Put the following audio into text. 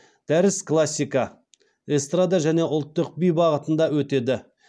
дәріс классика эстрада және ұлттық би бағытында өтеді